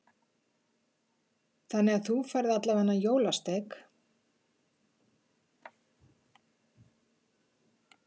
Helga: Þannig að þú færð allavega jólasteik?